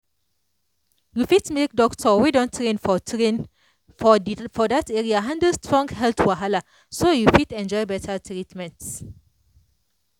you fit make doctor wey don train for train for that area handle strong health wahala so you fit enjoy better treatment.